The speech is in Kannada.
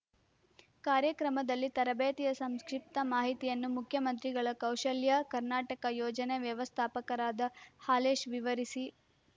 ಕಾರ್ಯಕ್ರಮದಲ್ಲಿ ತರಬೇತಿಯ ಸಂಕ್ಷಿಪ್ತ ಮಾಹಿತಿಯನ್ನು ಮುಖ್ಯಮಂತ್ರಿಗಳ ಕೌಶಲ್ಯ ಕರ್ನಾಟಕ ಯೋಜನೆ ವ್ಯವಸ್ಥಾಪಕರಾದ ಹಾಲೇಶ್ ವಿವರಿಸಿ